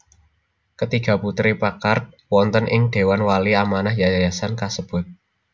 Ketiga putri Packard wonten ing dewan wali amanah yayasan kasebut